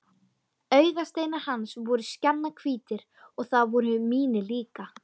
Augasteinar hans voru skjannahvítir og það voru mínir líka.